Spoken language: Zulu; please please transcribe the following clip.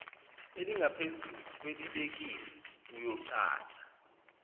elingaphezulu kwelibekiwe uyochaza